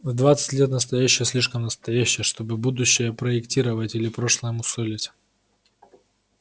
в двадцать лет настоящее слишком настоящее чтобы будущее проектировать или прошлое мусолить